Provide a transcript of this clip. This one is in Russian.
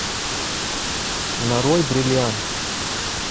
нарой бриллиант